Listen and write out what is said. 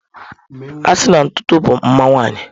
A sina na ntutu bụ mma nwanyị.